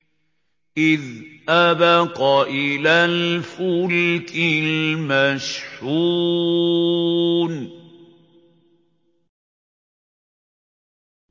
إِذْ أَبَقَ إِلَى الْفُلْكِ الْمَشْحُونِ